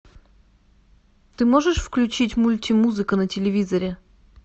ты можешь включить мультимузыка на телевизоре